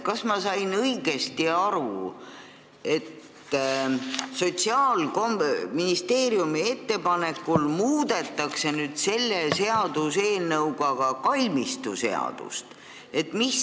Kas ma sain õigesti aru, et Sotsiaalministeeriumi ettepanekul muudetakse selle seaduseelnõuga ka kalmistuseadust?